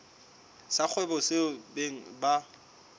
sa kgwebo seo beng ba